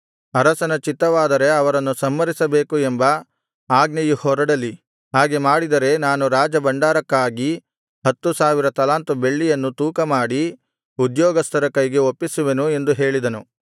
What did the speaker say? ಅರಸನ ಚಿತ್ತವಾದರೆ ಅವರನ್ನು ಸಂಹರಿಸಬೇಕು ಎಂಬ ಆಜ್ಞೆಯು ಹೊರಡಲಿ ಹಾಗೆ ಮಾಡಿದರೆ ನಾನು ರಾಜಭಂಡಾರಕ್ಕಾಗಿ ಹತ್ತು ಸಾವಿರ ತಲಾಂತು ಬೆಳ್ಳಿಯನ್ನು ತೂಕ ಮಾಡಿ ಉದ್ಯೋಗಸ್ಥರ ಕೈಗೆ ಒಪ್ಪಿಸುವೆನು ಎಂದು ಹೇಳಿದನು